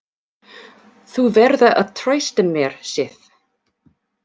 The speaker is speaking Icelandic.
Þú verður að treysta mér, Sif.